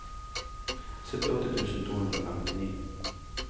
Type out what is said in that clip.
syttiåtte tusen to hundre og femtini